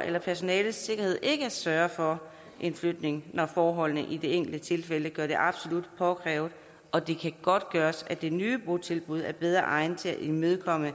eller personalets sikkerhed ikke at sørge for en flytning når forholdene i det enkelte tilfælde gør det absolut påkrævet og det kan godtgøres at det nye botilbud er bedre egnet til at imødekomme